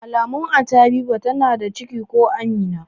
Alamun Anty Habiba tana da ciki ko Amina